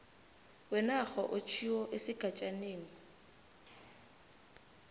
wenarha otjhiwo esigatjaneni